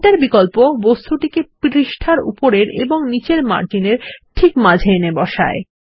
centre বিকল্প বস্তুটিকে পৃষ্ঠার উপরের এবং নীচের মার্জিনের ঠিক মাঝে এনে বসায়